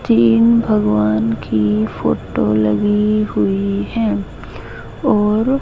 तीन भगवान की फोटो लगी हुई हैं ओर--